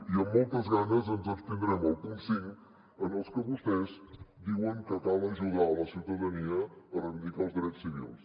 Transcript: i amb moltes ganes ens abstindrem al punt cinc en el que vostès diuen que cal ajudar la ciutadania a reivindicar els drets civils